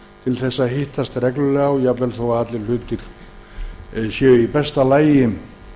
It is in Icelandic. til að hittast reglulega jafnvel þó að allt sé í besta lagi